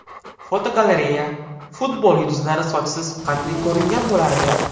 Fotogalereya: Futbol yulduzlari sochsiz qanday ko‘ringan bo‘lardi?